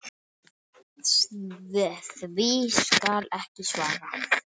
Því skal ekki svarað.